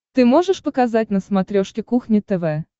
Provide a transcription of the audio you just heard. ты можешь показать на смотрешке кухня тв